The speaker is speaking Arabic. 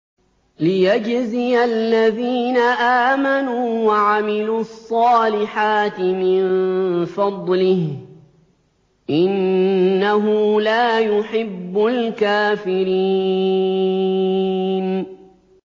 لِيَجْزِيَ الَّذِينَ آمَنُوا وَعَمِلُوا الصَّالِحَاتِ مِن فَضْلِهِ ۚ إِنَّهُ لَا يُحِبُّ الْكَافِرِينَ